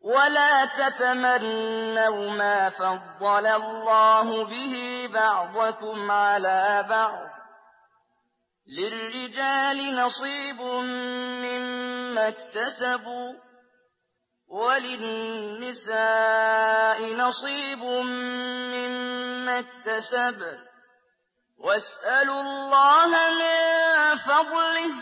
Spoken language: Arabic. وَلَا تَتَمَنَّوْا مَا فَضَّلَ اللَّهُ بِهِ بَعْضَكُمْ عَلَىٰ بَعْضٍ ۚ لِّلرِّجَالِ نَصِيبٌ مِّمَّا اكْتَسَبُوا ۖ وَلِلنِّسَاءِ نَصِيبٌ مِّمَّا اكْتَسَبْنَ ۚ وَاسْأَلُوا اللَّهَ مِن فَضْلِهِ ۗ